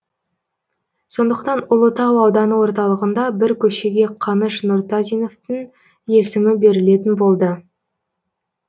сондықтан ұлытау ауданы орталығында бір көшеге қаныш нұртазиновтың есімі берілетін болды